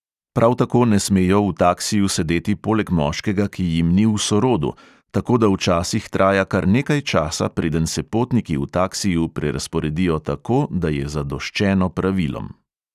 Prav tako ne smejo v taksiju sedeti poleg moškega, ki jim ni v sorodu, tako da včasih traja kar nekaj časa, preden se potniki v taksiju prerazporedijo tako, da je zadoščeno pravilom.